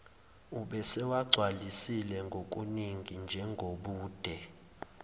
ubesewagcwalisile kokuningi njengobude